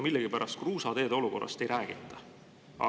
Millegipärast kruusateede olukorrast ei räägita seoses kliimamuutustega.